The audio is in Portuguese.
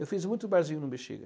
Eu fiz muito barzinho no Bexiga.